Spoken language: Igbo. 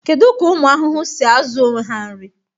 Kedu ka ụmụ ahụhụ si azụ onwe ha nri?